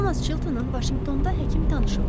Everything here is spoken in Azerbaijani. Tomas Çiltonun Vaşinqtonda həkim tanışı vardı.